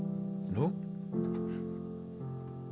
nú